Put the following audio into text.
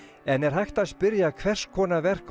en er hægt að spyrja hvers konar verk